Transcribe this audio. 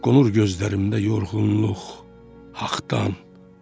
Qonur gözlərimdə yorğunluq haqdan.